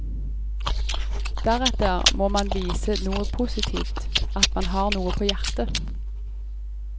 Deretter må man vise noe positivt, at man har noe på hjertet.